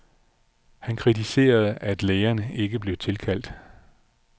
Han kritiserede, at lægerne ikke blev tilkaldt.